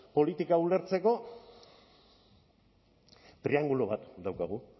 politika ulertzeko triangelu bat daukagu